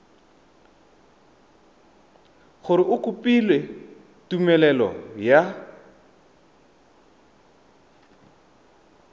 gore o kopile tumelelo ya